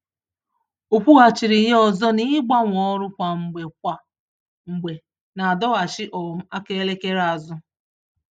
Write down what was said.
Ọ kwughachịrị ya ọzọ na igbanwe ọrụ kwa mgbe kwa mgbè, n'adọghachị um aka elekere azụ